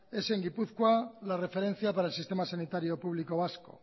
es en gipuzkoa la referencia para el sistema sanitario público vasco